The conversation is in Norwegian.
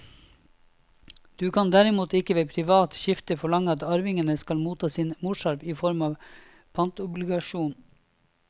Du kan derimot ikke ved privat skifte forlange at arvingene skal motta sin morsarv i form av en pantobligasjon.